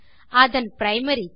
அதன் primary K